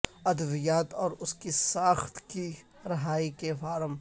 ادویات اور اس کی ساخت کی رہائی کے فارم